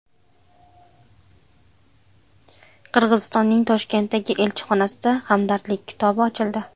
Qirg‘izistonning Toshkentdagi elchixonasida Hamdardlik kitobi ochildi.